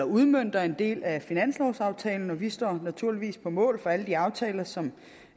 udmønter en del af finanslovsaftalen og vi står naturligvis på mål for alle de aftaler som